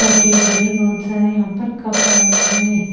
छोटे बड़े बहुत सारे यहां पर कप अवेलेबल है।